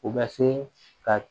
U bɛ se ka